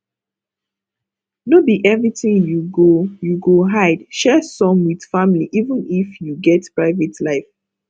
no be everything you go you go hide share some with family even if you get private life